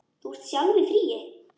Þú ert sjálf í fríi.